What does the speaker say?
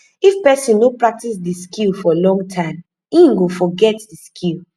if persin no practice di skill for long time in fit forget di skill